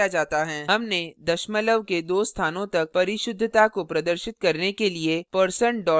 हमने दशमलव के दो स्थानों तक परिशुद्धता को प्रदर्शित करने के लिए% 2f का उपयोग किया है